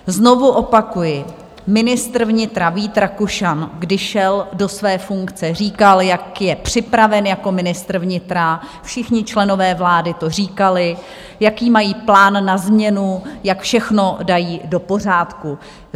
Znovu opakuji, ministr vnitra Vít Rakušan, když šel do své funkce, říkal, jak je připraven jako ministr vnitra, všichni členové vlády to říkali, jaký mají plán na změnu, jak všechno dají do pořádku.